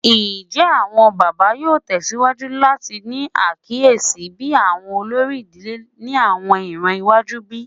Njẹ awọn baba yoo tẹsiwaju lati ni akiyesi bi awọn olori idile ni awọn iran iwaju bi?